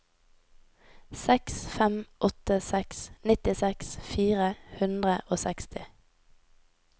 seks fem åtte seks nittiseks fire hundre og seksti